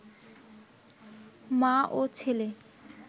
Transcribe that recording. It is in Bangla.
মা ও ছেলে